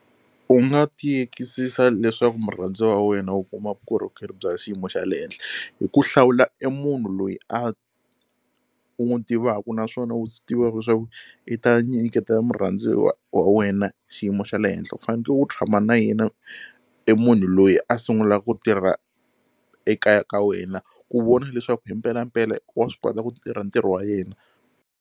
U nga tiyekisisa leswaku murhandziwa wa wena u kuma vukorhokeri bya xiyimo xa le henhla hi ku hlawula e munhu loyi a u n'wi tivaka naswona u swi tivaka swa ku i ta nyiketa murhandziwa wa wena xiyimo xa le henhla u faneke u tshama na yena e munhu loyi a sungula ku tirha ekaya ka wena ku vona leswaku hi mpelampela wa swi kota ku tirha ntirho wa yena.